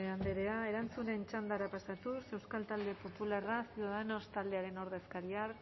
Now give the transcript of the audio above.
andrea erantzunen txandara pasatuz euskal talde popularra ciudadanos taldearen ordezkaria